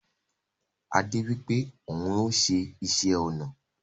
Ade wipe oun maa n se isé-ona